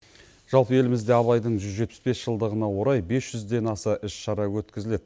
жалпы елімізде абайдың жүз жетпіс бес жылдығына орай бес жүзден аса іс шара өткізіледі